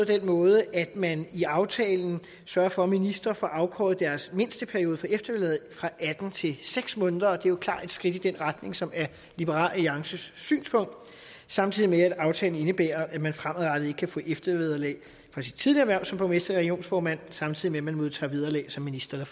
den måde at man i aftalen sørger for at ministre får afkortet deres mindsteperiode for eftervederlag fra atten til seks måneder og det er jo klart i et skridt i den retning som er liberal alliances synspunkt samtidig med at aftalen indebærer at man fremadrettet ikke kan få eftervederlag for sit tidligere hverv som borgmester eller regionsformand samtidig med at man modtager vederlag som minister